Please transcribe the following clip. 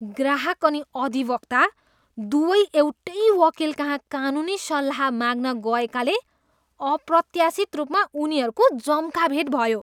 ग्राहक अनि अधिवक्ता दुवै एउटै वकिलकहाँ कानुनी सल्लाह माग्न गएकाले अप्रत्याशित रूपमा उनीहरूको जम्काभेट भयो।